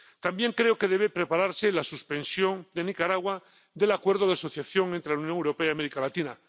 También creo que debe prepararse la suspensión de Nicaragua del Acuerdo de Asociación entre la Unión Europea y América Latina.